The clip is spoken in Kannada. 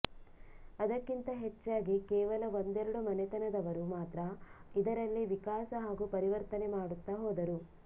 ಅದಕ್ಕಿಂತ ಹೆಚ್ಚಾಗಿ ಕೇವಲ ಒಂದೆರಡು ಮನೆತನದವರು ಮಾತ್ರ ಇದರಲ್ಲಿ ವಿಕಾಸ ಹಾಗೂ ಪರಿವರ್ತನೆ ಮಾಡುತ್ತಾ ಹೋದರು